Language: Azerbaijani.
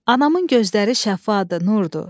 Anamın gözləri şəffafdır, nurdur.